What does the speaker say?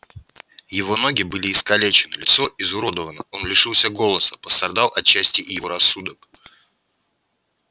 его ноги были искалечены лицо изуродовано он лишился голоса пострадал отчасти и его рассудок